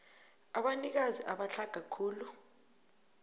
abanikazi abatlhaga khulu